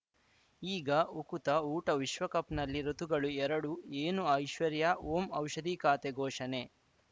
ಈಗ ಉಕುತ ಊಟ ವಿಶ್ವಕಪ್‌ನಲ್ಲಿ ಋತುಗಳು ಎರಡು ಏನು ಐಶ್ವರ್ಯಾ ಓಂ ಔಷಧಿ ಖಾತೆ ಘೋಷಣೆ